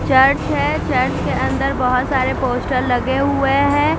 Church है church के अंदर बहोत सारे पोस्टर लगे हुए है।